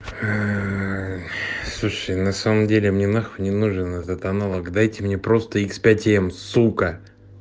ээ слушай на самом деле мне нахуй не нужен этот аналог дайте мне просто икс пять-м сука